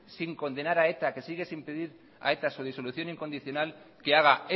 sin condenar a eta que sigue sin pedir a eta su disolución incondicional que haga